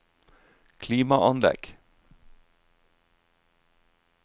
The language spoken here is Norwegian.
klimaanlegg